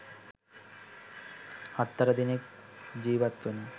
හත් අට දෙනෙක් ජීවත් වන